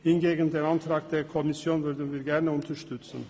Hingegen unterstützen wir gerne den Antrag der Kommission.